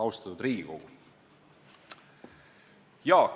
Austatud Riigikogu!